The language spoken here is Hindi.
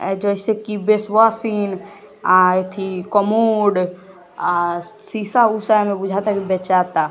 जैसे की बेसवाशिंग कमोड शीशा